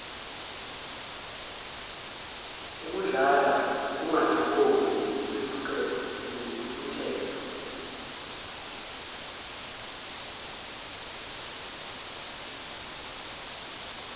ukudlala ukungathokozi nentukuthelo